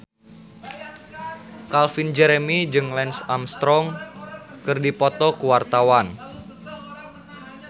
Calvin Jeremy jeung Lance Armstrong keur dipoto ku wartawan